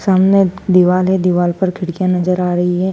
सामने दीवाल है दिवाल पर खिड़कियां नजर आ रही हैं।